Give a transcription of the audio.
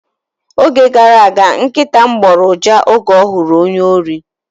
Oge gara aga, nkịta m gboro uja oge ọ hụrụ ónyé órí.